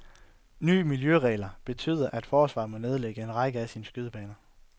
Nye miljøregler betyder, at forsvaret må nedlægge en række af sine skydebaner.